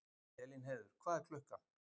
Elínheiður, hvað er klukkan?